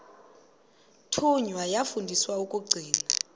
thunywa yafundiswa ukugcina